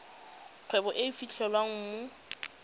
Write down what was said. kgwebo e e fitlhelwang mo